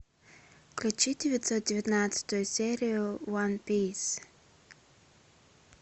включи девятьсот девятнадцатую серию уан пис